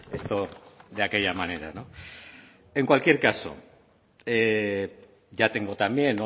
esto de aquella manera no en cualquier caso ya tengo también